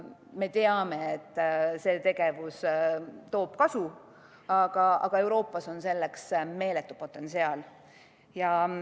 Me teame, et see tegevus toob kasu, Euroopas on selleks meeletu potentsiaal.